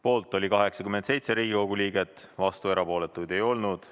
Poolt oli 87 Riigikogu liiget, vastuolijaid ja erapooletuid ei olnud.